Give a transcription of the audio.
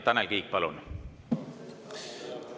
Tanel Kiik, palun!